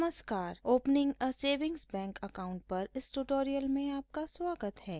नमस्कार ! opening a savings bank account पर इस ट्यूटोरियल में आपका स्वागत है